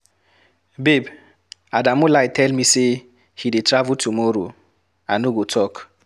Babe, Adamu lie tell me say he dey travel tomorrow, I no go talk.